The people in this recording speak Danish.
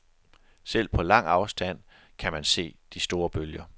Selv på lang afstand kan man se de store bølger.